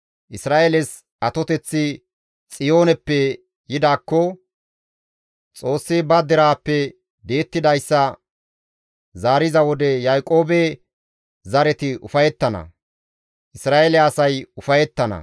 Isra7eeles atoteththi Xiyooneppe yidaakko! Xoossi ba deraappe di7ettidayssa zaariza wode Yaaqoobe zareti ufayettana; Isra7eele asay ufayettana.